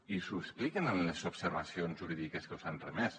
i els ho expliquen en les observacions jurídiques que us han remès